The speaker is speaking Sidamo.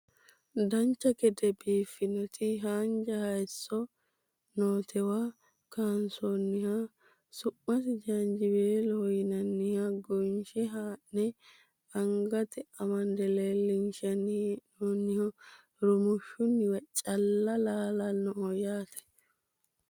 dancha gede biiffannoti haanja hayeesso nootewa kaansoonnihha su'masi jaanjiweeloho yinanniha gonshe haa'ne angatenni amande leellishshanni hee'noonniho rumushshunniwa calla laalannoho yate